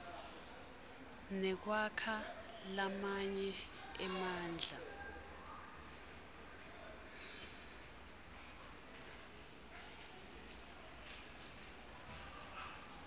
nekwakha lamanye emandla